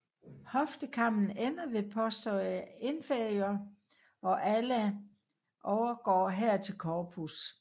Hoftekammen ender ved posterior inferior og ala overgår her til corpus